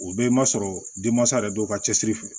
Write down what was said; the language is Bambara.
O bɛɛ ma sɔrɔ denmansa yɛrɛ dɔw ka cɛsiri fɛ